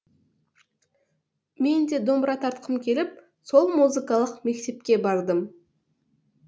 мен де домбыра тартқым келіп сол музыкалық мектепке бардым